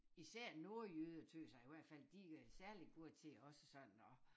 Især nordjyder tøs jeg i hvert fald de er særligt gode til også sådan at